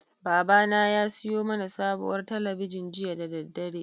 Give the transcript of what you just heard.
Babana ya siyo mana sabuwar talabijin jiya da daddare.